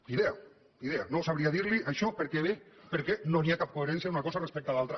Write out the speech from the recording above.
ni idea ni idea no sabria dirli això per què ve perquè no hi ha cap coherència d’una cosa respecte a l’altra